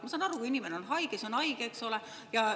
Ma saan aru, kui inimene on haige, siis ta on haige, eks ole.